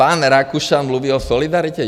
Pan Rakušan mluví o solidaritě?